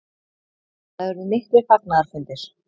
Það urðu miklir fagnaðarfundir.